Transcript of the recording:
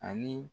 Ani